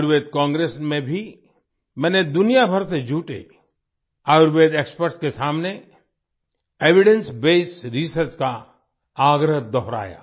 Ayurveda Congress में भी मैंने दुनिया भर से जुटे आयुर्वेद एक्सपर्ट्स के सामने एविडेंस बेस्ड रिसर्च का आग्रह दोहराया